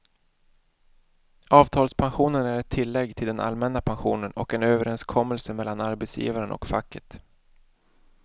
Avtalspensionen är ett tillägg till den allmänna pensionen och en överenskommelse mellan arbetsgivaren och facket.